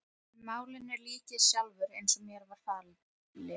En málinu lýk ég sjálfur, eins og mér var falið.